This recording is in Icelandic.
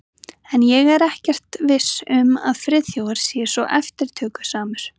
En ég er ekkert viss um að Friðþjófur sé svo eftirtökusamur.